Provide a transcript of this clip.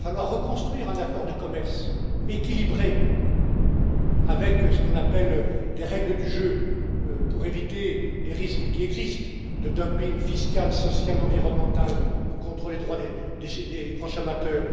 Il va falloir reconstruire un accord de commerce équilibré avec ce qu'on appelle des règles du jeu pour éviter les risques qui existent de dumping fiscal, social, environnemental ou contre les droits des consommateurs.